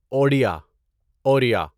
Odia Oriya